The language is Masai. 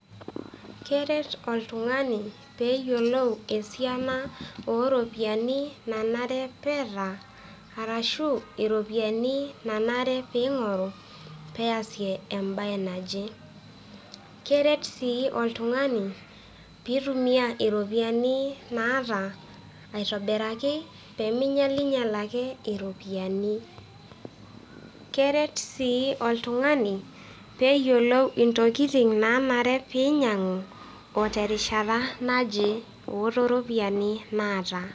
Keret oltung'ani pee eyolou esiana o ropiani nanare peeta arashu iropiani nanare piing'oru pee easie embae naje. Keret sii oltung'ani piitumia iropiani naata aitobiraki pee minyalnyal ake iropiani. Keret sii oltung'ani pee eyolou ntokitin naanare piinyang'u o terishata naje o to ropiani naata.